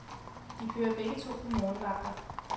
De kører begge to på morgenvagter.